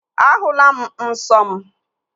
Ahụla m nsọ m